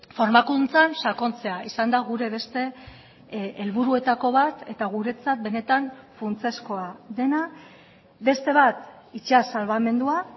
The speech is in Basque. formakuntzan sakontzea izan da gure beste helburuetako bat eta guretzat benetan funtsezkoa dena beste bat itsas salbamendua